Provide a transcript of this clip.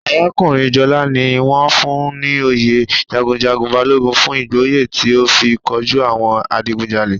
Arakunrin Jola ni won fun un ni oyè jagunjagun Balogun fun igboya ti o fi koju awon adigunjale.